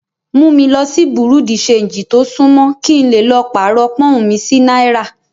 Mú mi lo sí Bùrú dì ṣanjì tó sún mọ́, kí n lè lọ pàrọ̀ Pọ́ǹhun mi sí náírà.